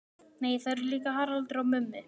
Nei það er líka Haraldur og Mummi.